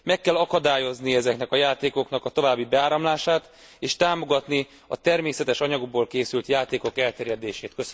Meg kell akadályozni ezeknek a játékoknak a további beáramlását, és támogatni a természetes anyagból készült játékok elterjedését.